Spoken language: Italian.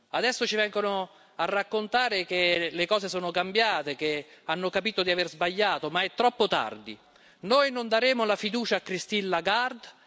Adesso ci vengono a raccontare che le cose sono cambiate, che hanno capito di aver sbagliato, ma è troppo tardi! Noi non daremo la fiducia a Christine Lagarde.